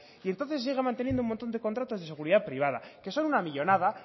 y entonces siguen manteniendo un montón de contratos de seguridad privada que son una millónada